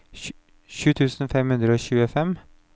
sju tusen fem hundre og tjuefem